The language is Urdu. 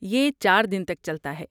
یہ چار دن تک چلتا ہے۔